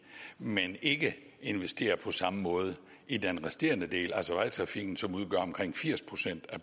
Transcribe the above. men ikke investerer på samme måde i den resterende del altså vejtrafikken som udgør omkring firs procent af